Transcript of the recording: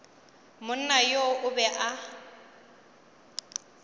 monna yoo o be a